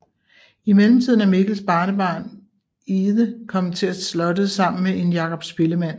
I mellemtiden er Mikkels barnebarn Ide kommet til slottet sammen med en Jakob spillemand